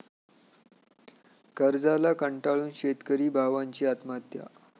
कर्जाला कंटाळून शेतकरी भावांची आत्महत्या